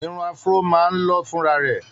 Irun Afro máa ń lọ́ fúnra rẹ̀.